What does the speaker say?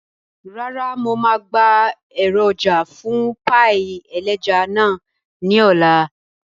Rárá, mo máa gba èròjà fún páì ẹlẹ́ja náà ní ọ̀la